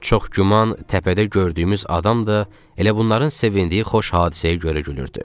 Çox güman təpədə gördüyümüz adam da elə bunların sevindiyi xoş hadisəyə görə gülürdü.